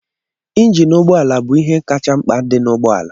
Injin ụgbọala bụ ihe kacha mkpa dị n'ụgbọala.